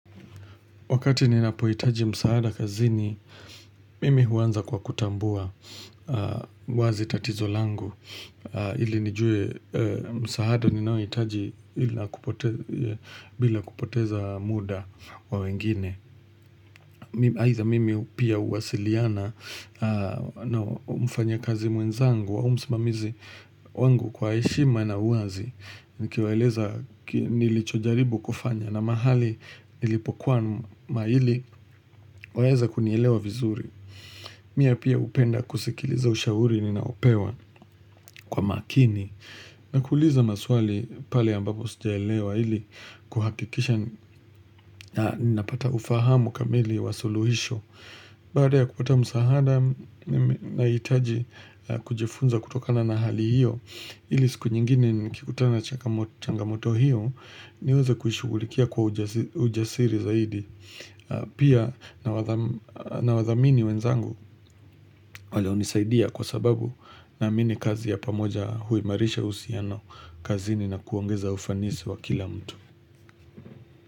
Wakati ninapohitaji msaada kazini mimi huanza kwa kutambua wazi tatizo langu ili nijue msaada ninaohitaji bila kupoteza muda wa wengine. Aidha mimi pia huwasiliana na mfanyakazi mwenzangu au msimamizi wangu kwa heshima na uazi Nikiwaeleza nilichojaribu kufanya na mahali nilipokuama maili waweza kunielewa vizuri Mie pia hupenda kusikiliza ushauri ninaopewa kwa makini na kuuliza maswali pale ambapo sijaelewa ili kuhakikisha ninapata ufahamu kamili wa suluhisho Baada ya kupata msahada nahitaji kujifunza kutokana na hali hiyo ili siku nyingine nikikutana na changamoto hiyo niweze kuishugulikia kwa ujasiri zaidi Pia nawathamini wenzangu wale hunisaidia kwa sababu naamini kazi ya pamoja huimarisha uhusiano kazini na kuongeza ufanisi wa kila mtu.